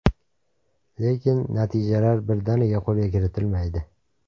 Lekin, natijalar birdaniga qo‘lga kiritilmaydi.